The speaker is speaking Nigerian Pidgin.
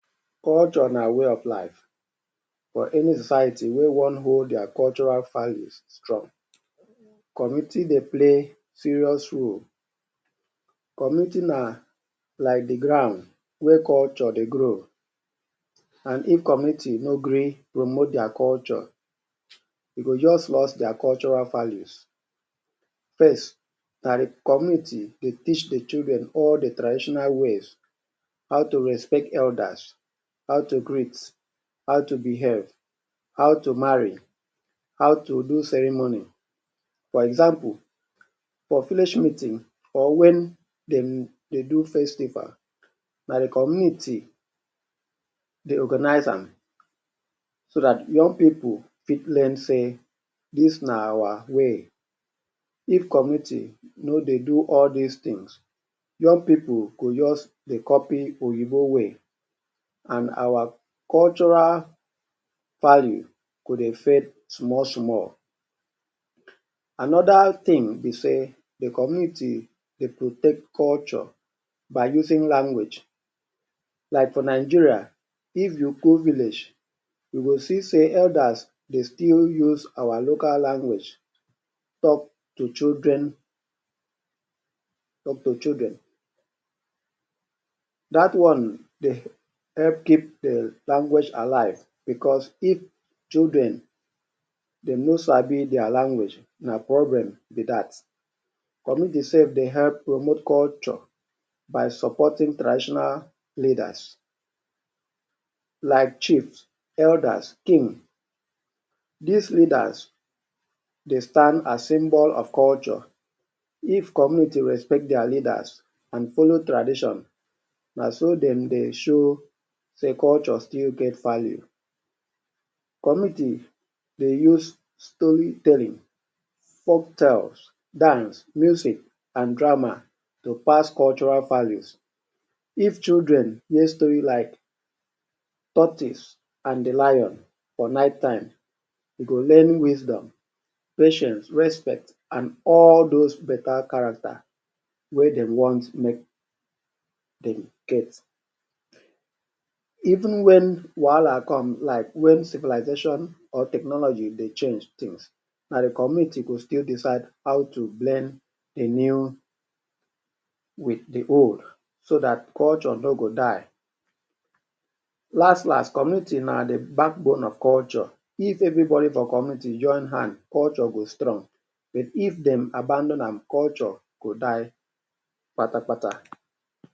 Culture na way of life for any society wey wan hold their cultural value strong. Community dey play serious role. Community na like the ground where cultures dey grow. And if community no agree promote their culture, they go just lost their cultural values. First, na the community dey teach the children all the traditional ways. How to respect elders, how to greet, how to behave, how to marry, how to do ceremony. For example, for village meeting or when de dey do festival, na the community dey organize am so dat young pipu fit know sey dis na our way. If community no dey do all des things, young people go just dey copy Oyinbo way, and our cultural value go dey fade small small. Another thing be sey, the community dey protect culture by using language. Like for Nigeria, if you go village, you go see sey elders dey still use our local language talk to children talk to children. Dat one dey help keep um language alive because if children they no sabi their language, na problem be dat. Community self dey help promote culture by supporting traditional leaders. Like chiefs, elders, kings. Des leaders dey stand as symbols of culture. If communities respect their leaders and follow tradition, na so de dey show sey culture still get value. Community dey use storytelling, folk tales, dance, music, and drama to pass cultural values. If children use stories like tortoise and the lion for night time, de dey learn wisdom, patience, respect, and all dos better character wey de want make dem get. Even when wahala come, like when civilization or technology dey change things, na the community go still decide how to blend the new with the old so dat culture no go die. Last last, community na the backbone of culture. If everybody for community join hand, culture go strong but if dem abandon am, culture go die pata pata.